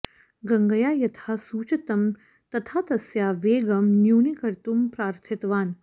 गङ्गया यथा सूचितं तथा तस्याः वेगं न्यूनीकर्तुं प्रार्थितवान्